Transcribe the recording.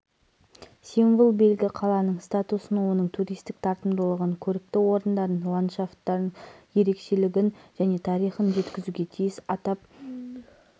сирия бойынша астана процесі сирия бойынша астана процесі әлемнің елінен келген журналистердің назарында болды материалдары бар